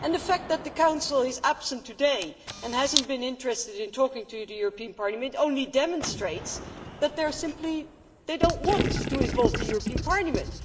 and the fact that the Council is absent today, and has not been interested in talking to the European Parliament, only demonstrates that they simply do not want to involve the European Parliament